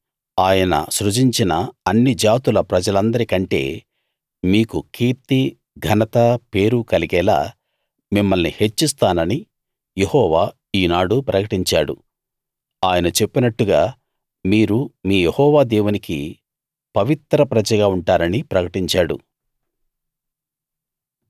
ఆయన సృజించిన అన్ని జాతుల ప్రజలందరి కంటే మీకు కీర్తి ఘనత పేరు కలిగేలా మిమ్మల్ని హెచ్చిస్తానని యెహోవా ఈనాడు ప్రకటించాడు ఆయన చెప్పినట్టుగా మీరు మీ యెహోవా దేవునికి పవిత్ర ప్రజగా ఉంటారనీ ప్రకటించాడు